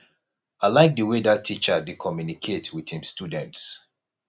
i like the way dat teacher dey communicate with im students